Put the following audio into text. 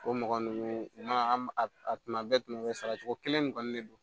O mɔgɔ ninnu i ma an b a tuma bɛɛ sara cogo kelen kɔni ne don